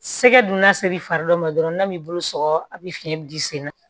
Sɛgɛ dunda ser'i fari dɔ ma dɔrɔn n'a m'i bolo sɔgɔ a bi fiɲɛ di sen na